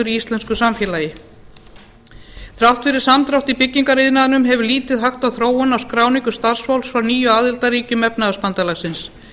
íslensku samfélagi þrátt fyrir samdrátt í byggingariðnaðinum hefur lítið hægt á þróun á skráningum starfsfólks frá nýju aðildarríkjum efnahagsbandalagsins